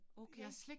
Okay